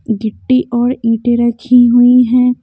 गिट्टी और ईंटे रखी हुई हैं।